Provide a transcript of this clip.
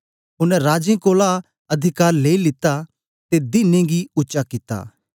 ओनें राजें कोलां अधिकार लेई लित्ता ते दीने गी उच्चा कित्ता